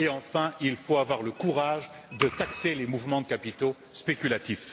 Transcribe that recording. Et, enfin, il faut avoir le courage de taxer les mouvements de capitaux spéculatifs.